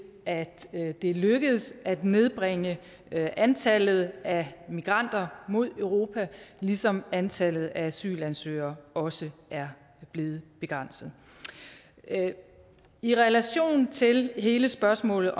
at det er lykkedes at nedbringe antallet af migranter mod europa ligesom antallet af asylansøgere også er blevet begrænset i relation til hele spørgsmålet